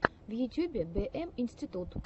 в ютюбе бэ эм институт